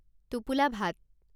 টোপোলা ভাত